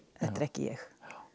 þetta er ekki ég